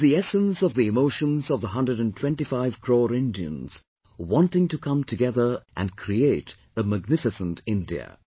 It is the essence of the emotions of the 125 crore Indians wanting to come together and create a magnificent India